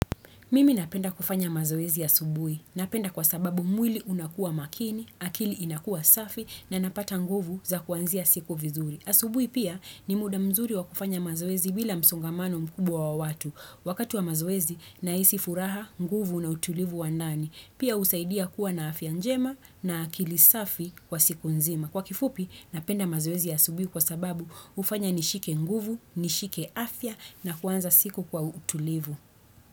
Mimi napenda kufanya mazoezi ya asubuhi. Napenda kwa sababu mwili unakua makini, akili inakua safi na napata nguvu za kuanzia siku vizuri. Asubuhi pia ni muda mzuri wa kufanya mazoezi bila msongamano mkubwa wa watu. Wakati wa mazoezi na hisi furaha, nguvu na utulivu wa ndani. Pia husaidia kuwa na afya njema na akili safi kwa siku nzima. Kwa kifupi napenda mazoezi ya asubuhi kwa sababu hufanya nishike nguvu, nishike afya na kuanza siku kwa utulivu.